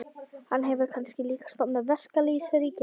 Hann hefur kannski líka stofnað verkalýðsríki?